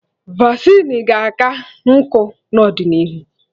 Vasịn ga-aka nkụ n'ọdịnihu